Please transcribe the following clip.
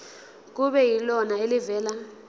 kube yilona elivela